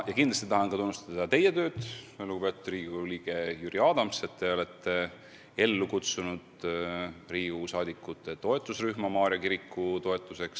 Ja kindlasti tahan tunnustada ka teie tööd, lugupeetud Riigikogu liige Jüri Adams, et te olete ellu kutsunud Riigikogu liikmete ühenduse Maarja kiriku toetuseks.